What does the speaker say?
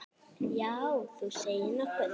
Já, þú segir nokkuð.